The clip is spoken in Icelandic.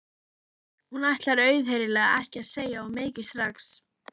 Hún ætlar auðheyrilega ekki að segja of mikið strax.